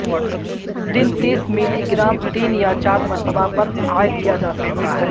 دن تیس ملیگرام تین یا چار مرتبہ پر عائد کیا جا سکتا ہے